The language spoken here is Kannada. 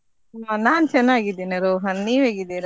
ನಾ~ ನಾನ್ ಚೆನ್ನಾಗಿದ್ದೇನೆ ರೋಹನ್, ನೀವ್ ಹೇಗಿದ್ದೀರ.